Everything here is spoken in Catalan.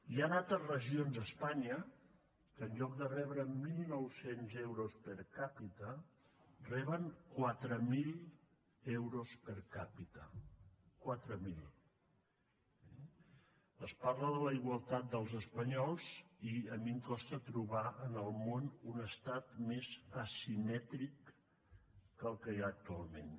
hi han altres a regions a espanya que en lloc de rebre mil nou cents euros per capitala de la igualtat dels espanyols i a mi em costa trobar en el món un estat més asimètric que el que hi ha actualment